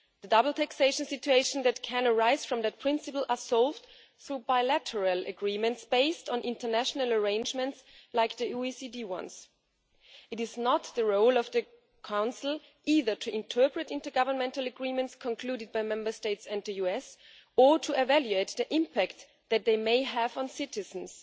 The double taxation situations which can arise from that principle are solved through bilateral agreements based on international arrangements such as the OECD ones. It is not the role of the Council either to interpret intergovernmental agreements concluded by Member States and the US, or to evaluate the impact that they may have on citizens.